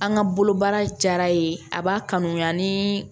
An ka bolo baara ye a b'a kanuya ni